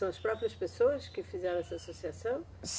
São as próprias pessoas que fizeram essa associação?